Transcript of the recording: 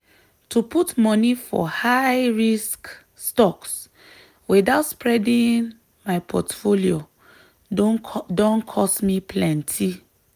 to put money for high-risk stocks without spreading my portfolio don cost me plenty.